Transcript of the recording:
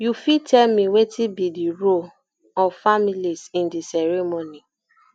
you fit tell me wetin be di role um of families in di ceremony